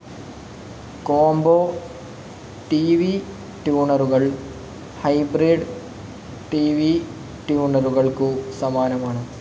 Combo TV ട്യുണറുകൾ hybrid TV ട്യുണറുകൾക്കു സമാനമാണ്.